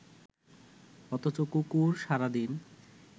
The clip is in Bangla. অথচ কুকুর সারা দিন